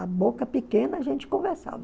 A boca pequena a gente conversava.